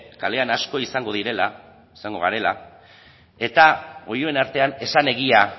kalean asko izango direla izango garela eta oihuen artean esan egia